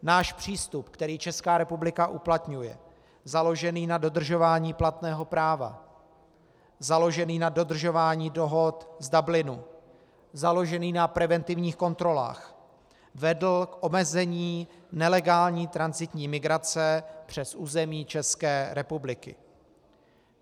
Náš přístup, který Česká republika uplatňuje, založený na dodržování platného práva, založený na dodržování dohod z Dublinu, založený na preventivních kontrolách vedl k omezení nelegální tranzitní migrace přes území České republiky.